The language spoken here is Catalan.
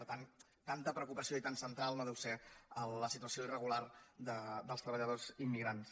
per tant tanta preocupació i tan central no deu ser la situació irregular dels treballadors immigrants